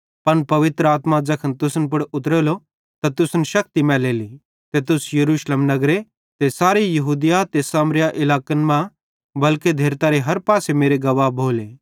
पन पवित्र आत्मा ज़ैखन तुसन पुड़ उतरेली त तुसन शक्ति मैलेली ते तुस यरूशलेम नगर ते सारे यहूदिया ते सामरिया इलाकन मां बल्के धेरतारे हर पासे मेरे गवाह भोले